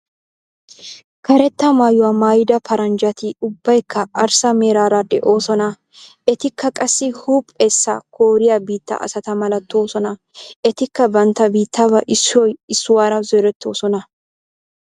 Karetta mayuwaa maayida paranjjati ubbaykka arssa meraara de'oosona. Etikka qassi huuphphessa kooriyaa biittaa asata malatoosona. Etikka bantta biittaabaa issoy issuwaara zorettoosona.